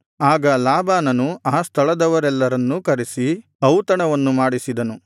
ಆಗ ಲಾಬಾನನು ಆ ಸ್ಥಳದವರೆಲ್ಲರನ್ನು ಕರೆಸಿ ಔತಣವನ್ನು ಮಾಡಿಸಿದನು